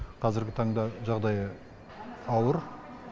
қазіргі таңда жағдайы ауыр